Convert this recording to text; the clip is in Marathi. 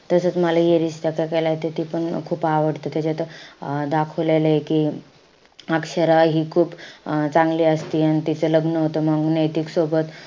तसंच मला ये रिश्ता क्या केहलाता त ती पण खूप आवडते. त्याच्यात अं दाखवलय कि अक्षरा हि खूप अं चांगली असती अन तीचं लग्न होत मंग नैतिक सोबत.